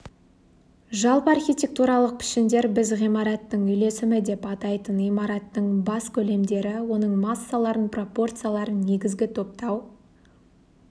жалпы архитектуралық пішіндер біз ғимараттың үйлесімі деп атайтын имараттың бас көлемдері оның массаларын пропорцияларын негізгі топтау